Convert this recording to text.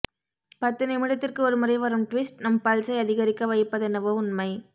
பத்து நிமிடத்திற்கு ஒருமுறை வரும் ட்விஸ்ட் நம் பல்ஸை அதிகரிக்க வைப்பதென்னவோ உண்மை